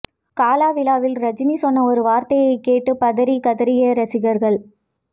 காலா விழாவில் ரஜினி சொன்ன ஒரு வார்த்தையை கேட்டு பதறி கதறிய ரசிகர்கள்